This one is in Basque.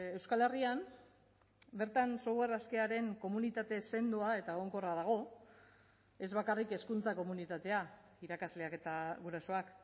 euskal herrian bertan software askearen komunitate sendoa eta egonkorra dago ez bakarrik hezkuntza komunitatea irakasleak eta gurasoak